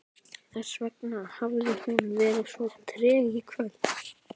Þessvegna hafði hún verið svo treg í kvöld.